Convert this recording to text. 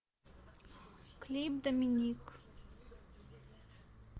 клип доминик